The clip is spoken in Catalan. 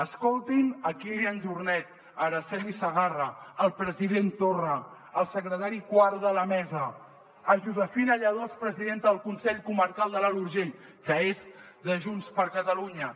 escoltin kílian jornet araceli segarra el president torra el secretari quart de la mesa josefina lladós presidenta del consell comarcal de l’alt urgell que és de junts per catalunya